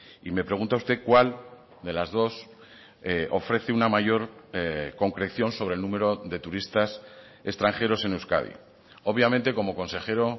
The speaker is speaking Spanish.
y me pregunta usted cuál de las dos ofrece una mayor concreción sobre el número de turistas extranjeros en euskadi obviamente como consejero